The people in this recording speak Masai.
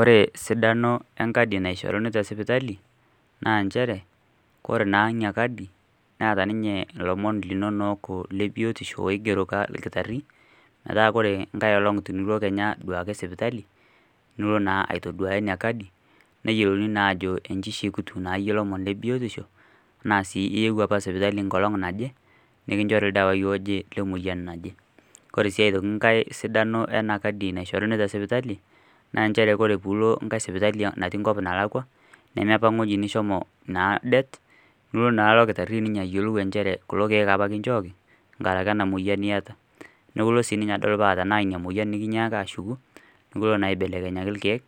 ore esidano enkadi naishorunu tesipitali naa nchere oree naa ina kadi neeta ninye ilomon linonok le biotisho oigero olkitari meeta kore enkai olong tenilo kenyaa aduaki sipitaki nilo naa aituduaya ina kadi neyiolouni naa ajo ishekut naa tolomon le biotisho na sii iyieuo apa sipitali nkolong naje nikichori ildawai oje lemoyian naje oree sii aitoki sidano ina kadi naishoruni tesipitali na nchere ore piilo ngai sipitali nalakua neme enapa woji nishomo naa det nelo naa olkitari ayiolou ajo nchere kulo kieek na kinchooki ngaraki ena moyian niata neeku ilo sii adol tenaa ina moyian nikinyiaka ashuku nilo na aibelekenyaki ilkiek